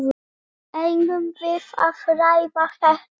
Eigum við að ræða þetta?